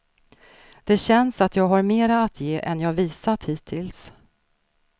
Det känns att jag har mera att ge än jag visat hittills.